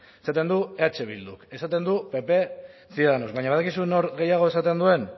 esaten du eh bilduk esaten du pp ciudadanos baina badakizu nor gehiago esaten duen